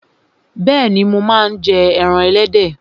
Bẹ́ẹ̀ni, mo máa ń jẹ ẹran ẹlẹ́dẹ̀